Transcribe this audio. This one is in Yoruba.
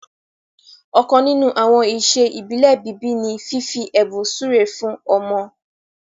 ọkan nínú àwọn iṣẹ ibile bíbí ní fífi ẹbùn súré fún ọmọ.